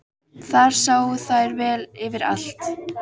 Þar sáu þær vel yfir allt.